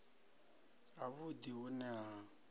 ha vhudi hu ne ha